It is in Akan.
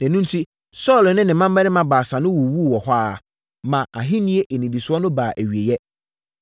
Ɛno enti, Saulo ne ne mmammarima baasa no wuwuu wɔ hɔ ara, ma nʼahennie nnidisoɔ no baa awieeɛ.